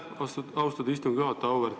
Aitäh, austatud istungi juhataja!